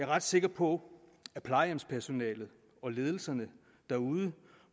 ret sikker på at plejehjemspersonalet og ledelserne derude